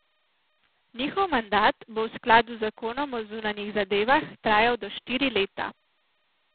Njihov mandat bo v skladu z zakonom o zunanjih zadevah trajal do štiri leta.